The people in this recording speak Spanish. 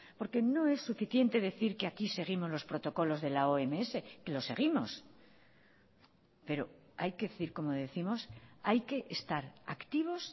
porque no es suficiente decir que aquí seguimos los protocolos de la oms que los seguimos pero hay que decir como décimos hay que estar activos